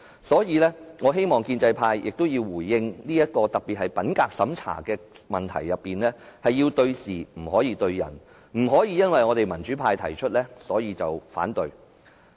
所以，我希望建制派作出回應，他們是否認為品格審查制度有問題，這是對事並非對人，不可因為議案是民主派提出而橫加反對。